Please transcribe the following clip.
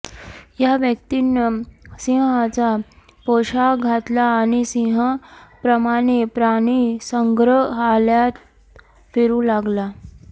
या व्यक्तीनं सिंहाचा पोशाख घातला आणि सिंहाप्रमाणे प्राणीसंग्रहालयात फिरू लागला